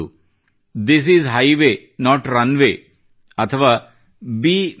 this is highway not RUNWAYʼ ಅಥವಾ ಬೆ mr